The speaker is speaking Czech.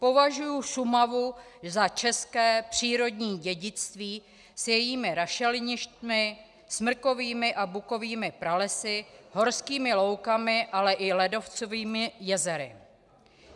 Považuji Šumavu za české přírodní dědictví s jejími rašeliništi, smrkovými a bukovými pralesy, horskými loukami, ale i ledovcovými jezery.